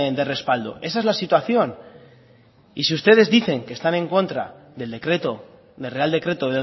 de respaldo esa es la situación y si ustedes dicen que están en contra del decreto del real decreto